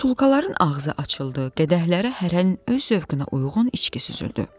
Butulkaların ağzı açıldı, qədəhlərə hərə öz zövqünə uyğun içki süzüldü.